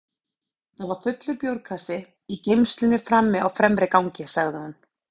Það var fullur bjórkassi í geymslunni frammi á fremra gangi, sagði hún.